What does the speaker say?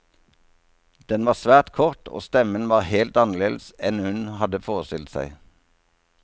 Den var svært kort, og stemmen var helt annerledes enn hun hadde forestilt seg.